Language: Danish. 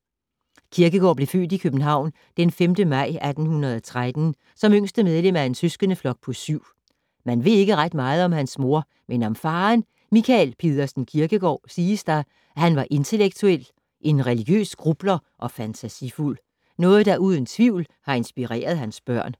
Kierkegaard blev født i København den 5. maj 1813, som yngste medlem af en søskendeflok på syv. Man ved ikke ret meget om hans mor, men om faderen, Michael Pedersen Kierkegaard, siges der, at han var intellektuel, en religiøs grubler og fantasifuld. Noget der uden tvivl har inspireret hans børn.